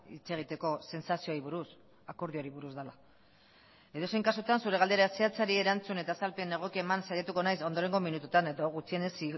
hitz egiteko sentsazioei buruz akordioari buruz dela edozein kasutan zure galdera zehatzari erantzun eta azalpen egokia eman saiatuko naiz ondorengo minutuetan eta gutxienez